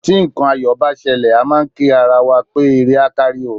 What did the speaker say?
Tí nǹkan ayọ̀ bá ṣẹlẹ̀, a máà ń kí ara wa pé ire á kárí o.